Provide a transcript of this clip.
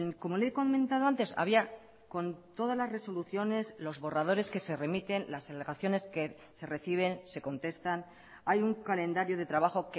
como le he comentado antes había con todas las resoluciones los borradores que se remiten las alegaciones que se reciben se contestan hay un calendario de trabajo